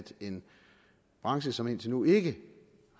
en branche som indtil nu ikke